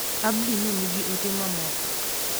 Abdi ne nigi ote mamoko.